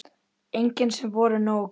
Engin sem voru nógu góð.